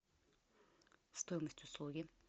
стоимость услуги